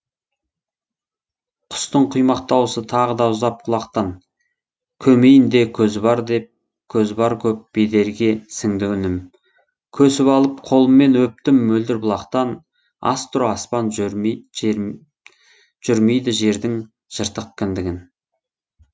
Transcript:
құстың құймақ дауысы тағыда ұзап құлақтан көмейінде көзі бар көп бедерге сіңді үнім көсіп алып қолыммен өптім мөлдір бұлақтан астро аспан жөрмейді жердің жыртық кіндігін